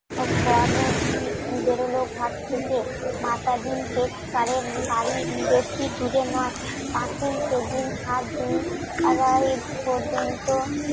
ঘর আপনি বেরোলো ঘর থেকে বেশি দূরে নই সেদিন দিন পর্যন্ত